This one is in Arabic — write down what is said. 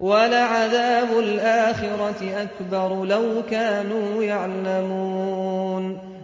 وَلَعَذَابُ الْآخِرَةِ أَكْبَرُ ۚ لَوْ كَانُوا يَعْلَمُونَ